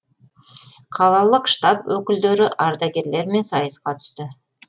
қалалық штаб өкілдері ардагерлермен сайысқа түсті